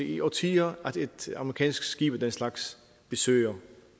i årtier at et amerikansk skib af den slags besøger